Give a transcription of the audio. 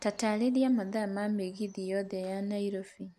taarĩria mathaa ma mĩgithi yothe ya nairobi